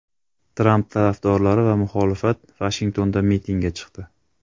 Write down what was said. Tramp tarafdorlari va muxolifat Vashingtonda mitingga chiqdi.